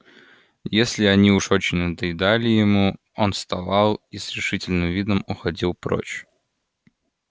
если они уж очень надоедали ему он вставал и с решительным видом уходил прочь